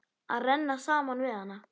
Að renna saman við hana.